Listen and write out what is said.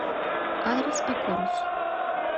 адрес акорус